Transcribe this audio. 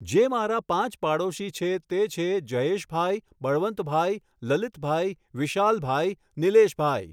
જે મારા પાંચ પાડોશી છે તે છે જયેશભાઈ, બળવંતભાઈ, લલીતભાઈ, વિશાલભાઈ ,નીલેશભાઈ